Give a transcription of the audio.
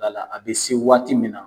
A bɛ se waati min na